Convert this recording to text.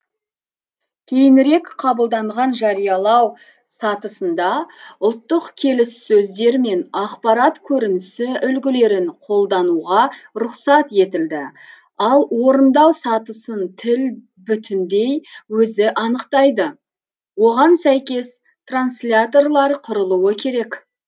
кейінірек қабылданған жариялау сатысында ұлттық келіс сөздер мен ақпарат көрінісі үлгілерін қолдануға рұқсат етілді ал орындау сатысын тіл бүтіндей өзі анықтайды оған сәйкес трансляторлар құрылуы керек